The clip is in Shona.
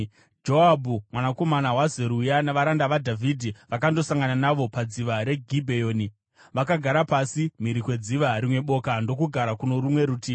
Joabhu mwanakomana waZeruya navaranda vaDhavhidhi vakandosangana navo padziva reGibheoni. Vakagara pasi mhiri kwedziva, rimwe boka ndokugara kuno rumwe rutivi.